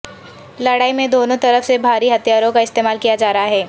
لڑائی میں دونوں طرف سے بھاری ہتھیاروں کا استعمال کیا جا رہا ہے